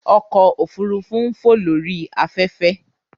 Ọkọ ofurufu n fo lori afẹfẹ.